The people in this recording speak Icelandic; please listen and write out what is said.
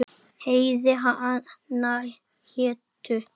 Heiði hana hétu